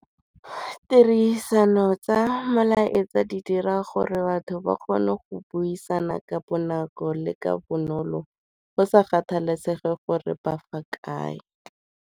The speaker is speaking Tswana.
Tirisano tsa molaetsa di dira gore batho ba kgone go buisana ka bonako le ka bonolo go sa kgathalesege gore ba fa kae.